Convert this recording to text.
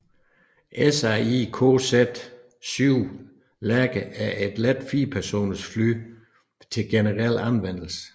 SAI KZ VII Lærke er et let firepersoners fly til generel anvendelse